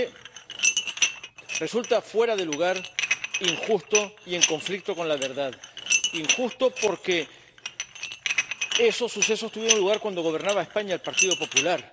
Porque resulta fuera de lugar, injusto y en conflicto con la verdad. Injusto porque esos sucesos tuvieron lugar cuando gobernaba España el Partido Popular.